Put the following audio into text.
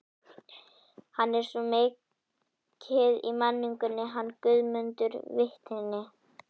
Hann er svo mikið í menningunni, hann Guðmundur vitni.